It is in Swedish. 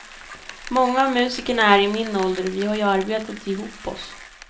Många av musikerna är i min ålder och vi har ju arbetat ihop oss.